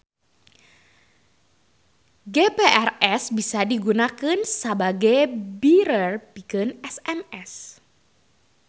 GPRS bisa digunakeun sabage bearer pikeun SMS.